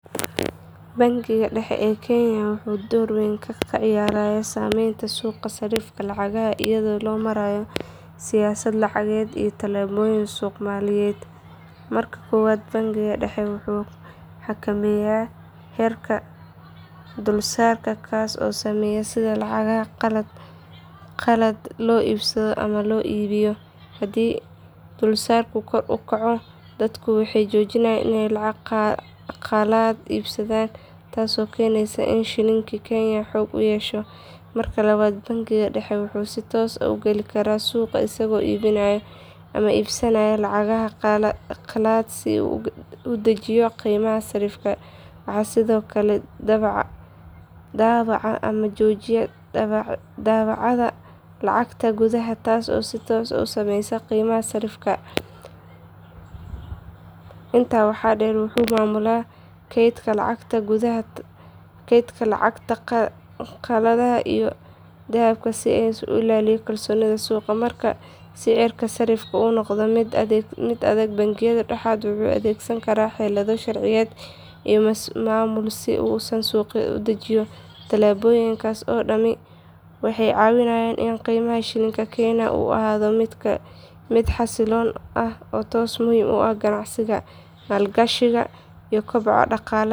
Bangiga dhexe ee kenya wuxuu door weyn ka ciyaaraa saameynta suuqa sarrifka lacagaha iyadoo loo marayo siyaasad lacageed iyo talaabooyin suuq maaliyadeed. Marka koowaad bangiga dhexe wuxuu xakameeyaa heerka dulsaarka kaas oo saameeya sida lacagaha qalaad loo iibsado ama loo iibiyo. Haddii dulsaarku kor u kaco dadku waxay joojiyaan iney lacag qalaad iibsadaan taasoo keenaysa in shilinka kenya xoog yeesho. Marka labaad bangiga dhexe wuxuu si toos ah u geli karaa suuqa isagoo iibinaya ama iibsanaya lacagaha qalaad si uu u dejiyo qiimaha sarrifka. Wuxuu sidoo kale daabacaa ama joojiyaa daabacaadda lacagta gudaha taasoo si toos ah u saameysa qiimaha sarrifka. Intaa waxaa dheer wuxuu maamulaa kaydka lacagaha qalaad iyo dahabka si uu u ilaaliyo kalsoonida suuqa. Marka sicirka sarifku uu noqdo mid aan degganayn bangiga dhexe wuxuu adeegsan karaa xeelado sharciyeed iyo maamul si uu suuqa u dejiyo. Tallaabooyinkaas oo dhami waxay ka caawiyaan in qiimaha shilinka kenya uu ahaado mid xasilloon taasoo muhiim u ah ganacsiga, maalgashiga iyo koboca dhaqaalaha dalka.